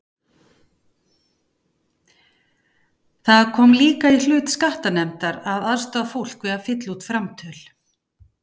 Það kom líka í hlut skattanefndar að aðstoða fólk við að fylla út framtöl.